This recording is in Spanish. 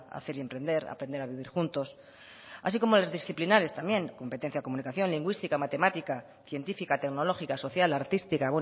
hacer y emprender aprender a vivir juntos así como las disciplinares también competencia en comunicación lingüística matemática científica tecnológica social artística